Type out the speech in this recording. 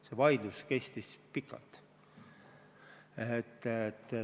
See vaidlus kestis pikalt.